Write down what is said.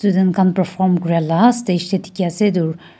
Jankam para form Kora laga stage bhi dekhi ase etu--